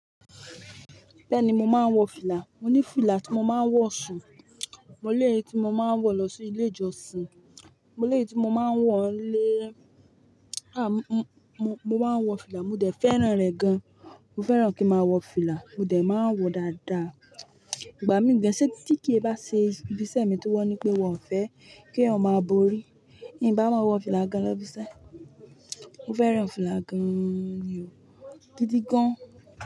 Bẹ́ẹ̀ni, mo máa ń wọ fìlà. Mo ní fìlà tí mo máa ń wọ̀ sùn, mo lèyí tí mo máa ń wọ lọ sí ilé ìjọsìn, mo lèyí tí mo máa ń wọ̀ nlé. Mo máa ń wọ fìlà. Mo dẹ̀ fẹ́ràn rẹ̀ gan. Mo fẹ́ràn kí n máa wọ fìlà. Mo dẹ̀ máa ń wọ dáadáa. Ìgbà míì gan tí kí è ba ṣe ibi iṣẹ́ mi tí wọ́n ní pé wọ́n fẹ́ kí è máa borí, n bá máa wọ fìlà gan lọ́ bí iṣẹ́. Mo fẹ́ràn fìlà gan-an ni o, gidi gan.